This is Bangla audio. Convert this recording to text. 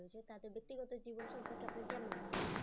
তাদের ব্যক্তিগত জীবন সম্পর্কে আপনার কেমন মনে হয়?